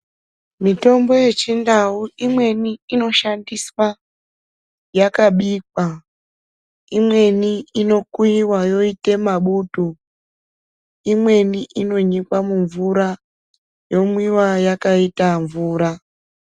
Mitombo yechindau imweni inoshandiswa yakabikwa. Imweni inokuiva yoite mabutu, imweni inonyikwa mumvura yomwiva yakaita mvura.